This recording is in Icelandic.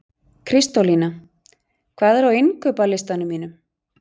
Kristólína, hvað er á innkaupalistanum mínum?